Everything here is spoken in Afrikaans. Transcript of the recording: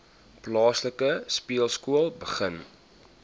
plaaslike speelskool begin